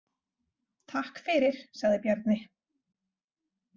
Takk fyrir, sagði Bjarni.